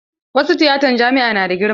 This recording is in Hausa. Wasu tiyatan jami'a na da girma.